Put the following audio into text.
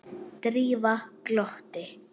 Drífa glotti.